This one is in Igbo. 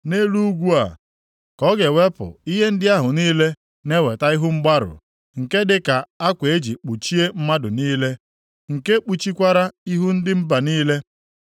Nʼelu ugwu a, ka ọ ga-ewepụ ihe ndị ahụ niile na-eweta ihu mgbarụ, nke dị ka akwa e ji kpuchie mmadụ niile, nke kpuchikwara ihu ndị mba niile.